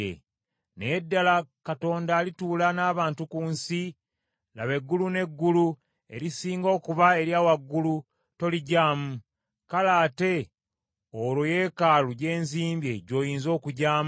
“Naye ddala Katonda alituula n’abantu ku nsi? Laba, eggulu n’eggulu erisinga okuba erya waggulu toligyamu, kale ate olwo yeekaalu gye nzimbye gy’oyinza okugyamu?